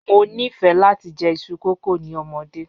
Mo nifẹ lati jẹ iṣu kókò ni ọmọde.